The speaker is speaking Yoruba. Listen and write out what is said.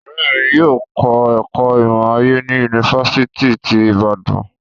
Ọrẹ mi yóò kọ ẹkọ imọ-aye ni Yunifasiti ti Ibadan